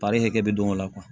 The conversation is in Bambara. hakɛ bɛ don o la